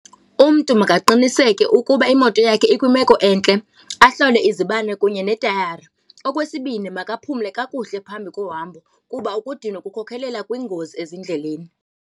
Umntu makaqiniseke ukuba imoto yakhe ikwimeko entle, ahlole izibane kunye neetayari. Okwesibini makaphumle kakuhle phambi kohambo kuba ukudinwa kukhokhelela kwingozi ezindleleni.